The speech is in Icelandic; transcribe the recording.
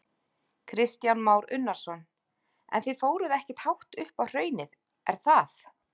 Kristján Már Unnarsson: En þið fóruð ekkert hátt upp á hraunið, er það?